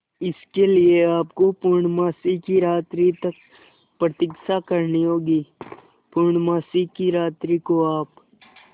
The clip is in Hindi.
इसके लिए आपको पूर्णमासी की रात्रि तक प्रतीक्षा करनी होगी पूर्णमासी की रात्रि को आप